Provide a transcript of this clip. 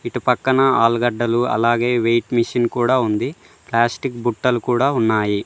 ఇటు పక్కన ఆలుగడ్డలు అలాగే వెయిట్ మిషన్ కూడా ఉంది ప్లాస్టిక్ బుట్టలు కూడా ఉన్నాయి.